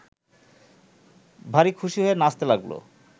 ভারি খুশি হয়ে নাচতে লাগল